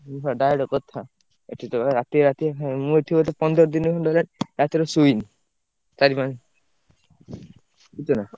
direct କଥା ଏଠି ତ ଭାଇ ରାତି ରାତି ମୁଁ ଏଠି ବୋଧେ ପନ୍ଦର ଦିନି ଖଣ୍ଡେ ହେଲାଣି ରାତିରେ ଶୋଇନି, ଚାରି ~ପା ବୁଝୁଛନା?